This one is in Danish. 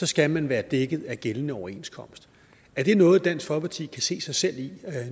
skal man være dækket af gældende overenskomst er det noget dansk folkeparti kan se sig selv i